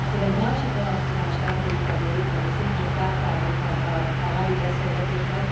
Én egy másik vonatkozást említenék, ami szintén fel felbukkant a mai beszélgetésben.